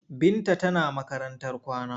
Binta tana makarantar kwana.